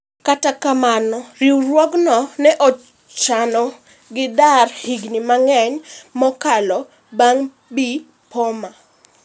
Kata kamano riwruogno ne ochuno gi dar higni mang'eny maokalo bang' Bi Pommer